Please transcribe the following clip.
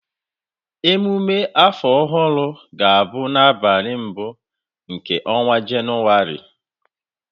Ememe afọ ọhụrụ ga-abụ n'abalị mbụ nke ọnwa Jenụwarị